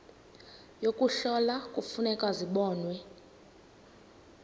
yokuhlola kufuneka zibonwe